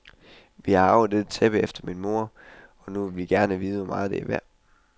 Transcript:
Vi har arvet dette tæppe efter min mor, og nu vil vi gerne vide hvor meget, det er værd.